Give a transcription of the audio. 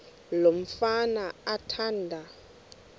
lo mfana athanda